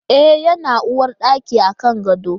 E, yana uwarɗaki a kan gado.